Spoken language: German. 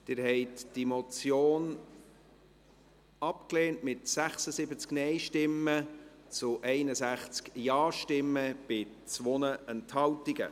Sie haben diese Motion abgelehnt, mit 76 Nein- zu 61 Ja-Stimmen bei 2 Enthaltungen.